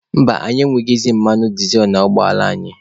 Mba, anyị enweghịzị mmanụ dịzel n'ụgbọ ala anyị.